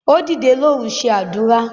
Ó dìdè lóru ṣe àdúrà.